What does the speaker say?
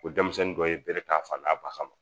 O denmisɛnnin dɔ ye bere ta fan ba kama